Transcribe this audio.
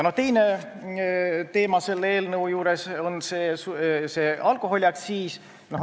Teine selle eelnõu teema on alkoholiaktsiis.